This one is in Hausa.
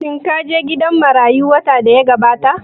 Shin ka je gidan marayu watan da ya gabata?